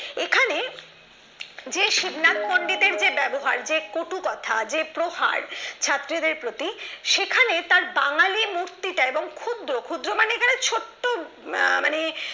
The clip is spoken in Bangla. শিবনাথ পন্ডিতের যে ব্যবহার যে কটু কথা যে প্রহার ছাত্রদের প্রতি সেখানে তার বাঙালি মূর্তিতা এবং ক্ষুদ্র ক্ষুদ্র মানে এখানে ছোট্ট মানে